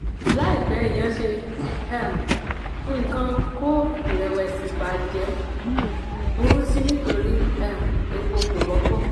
láìpẹ́ èèyàn ṣe um nǹkan kó ìrẹ̀wẹ̀sì ba jẹ́; burú sí i nítorí um epo kò wọ́pọ̀.